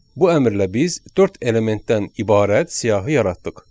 Bu əmrlə biz dörd elementdən ibarət siyahı yaratdıq.